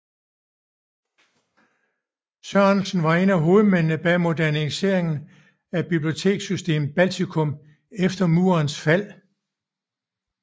Sørensen var en af hovedmændene bag moderniseringen af biblioteksystemet i Baltikum efter murens fald